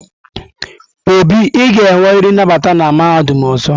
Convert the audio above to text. Obi, ị ga-enwerịrị nnabata na mahadum ọzọ!